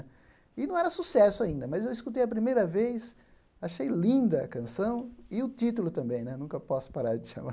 E não era sucesso ainda, mas eu escutei a primeira vez, achei linda a canção e o título também né, nunca posso parar de te amar.